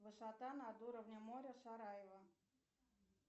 высота над уровнем моря сараево